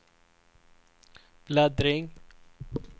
bläddring